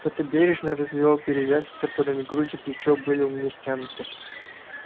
кто-то бережно развивал перевязи которыми грудь и плечо были у меня стянуты